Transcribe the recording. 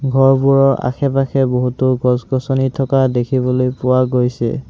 ঘৰবোৰৰ আশে-পাশে বহুতো গছ-গছনি থকা দেখিবলৈ পোৱা গৈছে।